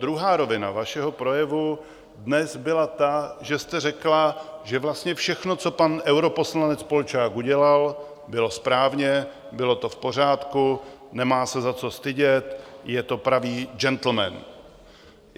Druhá rovina vašeho projevu dnes byla ta, že jste řekla, že vlastně všechno, co pan europoslanec Polčák udělal, bylo správně, bylo to v pořádku, nemá se za co stydět, je to pravý džentlmen.